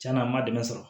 Cɛn na n ma dɛmɛ sɔrɔ